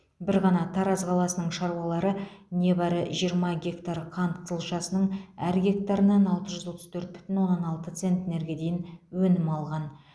бір ғана тараз қаласының шаруалары небәрі жиырма гектар қант қызылшасының әр гектарынан алты жүз отыз төрт бүтін оннан алты центнерге дейін өнім алған